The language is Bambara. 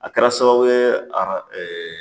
A kɛra sababu ye ara